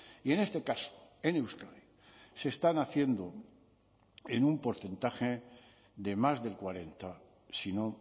y en este caso en euskadi se están haciendo en un porcentaje de más del cuarenta sino